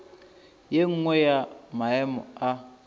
ye nngwe ya maemo a